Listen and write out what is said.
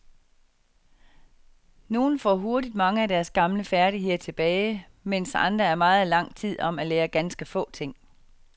Nogle får hurtigt mange af deres gamle færdigheder tilbage, mens andre er meget lang tid om at lære ganske få ting.